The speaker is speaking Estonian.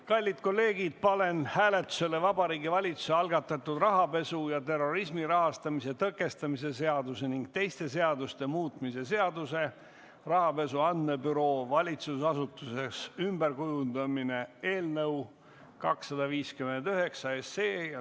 Kallid kolleegid, panen hääletusele Vabariigi Valitsuse algatatud rahapesu ja terrorismi rahastamise tõkestamise seaduse ning teiste seaduste muutmise seaduse eelnõu 259.